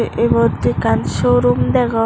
ibot ekkan show room degong.